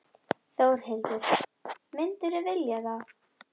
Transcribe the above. Þórhildur: Myndirðu vilja það?